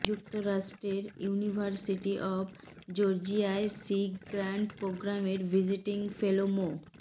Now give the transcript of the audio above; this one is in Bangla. যুক্তরাষ্টের ইউনিভার্সিটি অব জর্জিয়ায় সি গ্রান্ট প্রোগ্রামের ভিজিটিং ফেলো মো